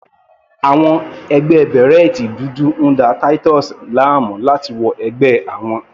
Àwọn ẹgbẹ́ bèrẹ́tì dúdú ń da Titus láàmú láti wọ ẹgbẹ́ àwọn.